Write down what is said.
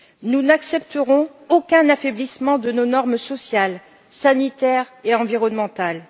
Nous n'accepterons aucun affaiblissement de nos normes sociales, sanitaires et environnementales.